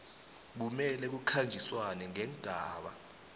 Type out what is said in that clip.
kumele kukhanjiswane neengaba